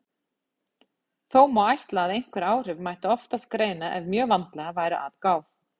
Þó má ætla að einhver áhrif mætti oftast greina ef mjög vandlega væri að gáð.